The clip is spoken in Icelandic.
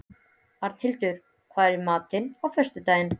Arnhildur, hvað er í matinn á föstudaginn?